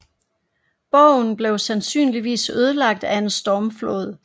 Borgen blev sandsynligvis ødelagt af en stormflod